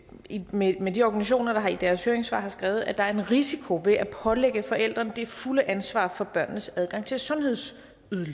enige med de organisationer der i deres høringssvar har skrevet at der er en risiko ved at pålægge forældrene det fulde ansvar for børnenes adgang til sundhedsydelser